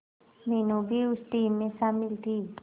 मीनू भी उस टीम में शामिल थी